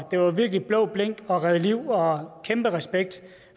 det var virkelig blå blink og at redde liv og kæmpe respekt